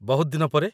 ବହୁତ ଦିନ ପରେ।